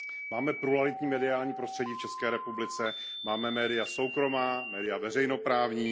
Máme pluralitní mediální prostředí, v České republice, máme média soukromá, média veřejnoprávní.